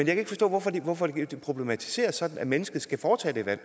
kan ikke forstå hvorfor det hvorfor det problematiseres sådan at mennesker skal foretage det valg